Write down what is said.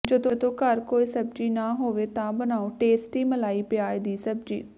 ਜਦੋਂ ਘਰ ਕੋਈ ਸਬਜ਼ੀ ਨਾ ਹੋਵੇ ਤਾਂ ਬਣਾਓ ਟੇਸਟੀ ਮਲਾਈ ਪਿਆਜ਼ ਦੀ ਸਬਜ਼ੀ